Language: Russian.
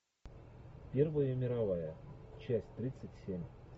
первая мировая часть тридцать семь